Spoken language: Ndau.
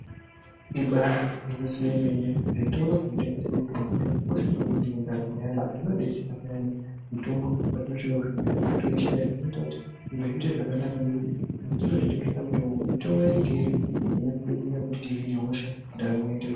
Ibaari gwinyiso yemene zvitoro zvinotengese mitombo zvakakosha maningi mundaramo yevantu nekuti zvinodetsera payani mutombo patinosvika kuzvibhehlera toishaya. Zvinoita kuti zviite zvakanaka nekuti muzvitoro zvinotengese mitombo, mitombo inenge irimo inotidetsera kuti tihine hosha, ndaramo yoite zvaka....